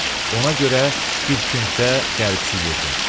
Ona görə bir küncdə qəribsiyirdim.